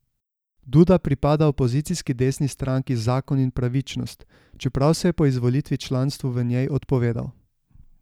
Duda pripada opozicijski desni stranki Zakon in pravičnost, čeprav se je po izvolitvi članstvu v njej odpovedal.